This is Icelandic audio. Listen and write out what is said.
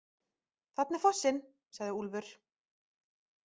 Þarna er fossinn, sagði Úlfur.